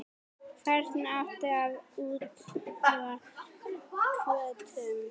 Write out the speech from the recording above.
Hvernig átti að úthluta kvótum?